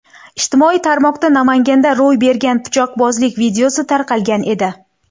Ijtimoiy tarmoqda Namanganda ro‘y bergan pichoqbozlik videosi tarqalgan edi.